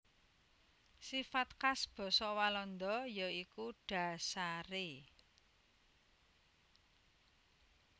Sifat khas basa Walanda ya iku dhasaré